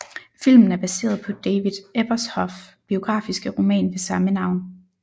Filmen er baseret på David Ebershoff biografiske roman ved samme navn